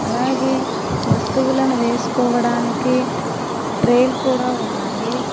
అలాగే వస్తువులను వేసుకోవడానికి ట్రేలు కూడా ఉన్నాయి.